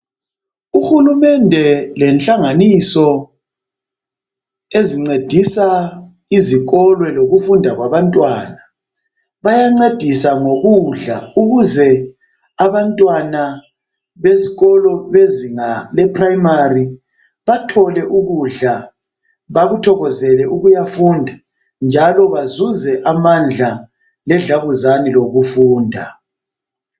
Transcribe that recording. Uhulumende lenhlanganiso ezincedisa izikolo lokufunda kwabantwana bayancedisa ngokudla ukuze abantwana besikolo bezinga le primary bathole ukudla bakuthokozele ukuyafunda njalo bazuze amandla ledlabuzane lokufunda.